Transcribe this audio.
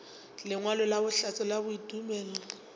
lengwalo la bohlatse la tumelelo